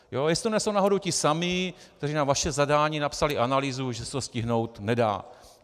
Jestli to nejsou náhodou ti samí, kteří na vaše zadání napsali analýzu, že se to stihnout nedá.